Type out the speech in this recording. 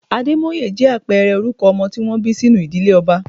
Ademoye jẹ́ àpẹẹrẹ orúkọ ọmọ tí wọ́n bí sínú ìdílé ọba.